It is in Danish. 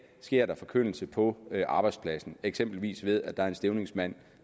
sker forkyndelse på arbejdspladsen eksempelvis ved at en stævningsmand